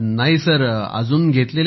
नाही सर अजून घेतलेली नाही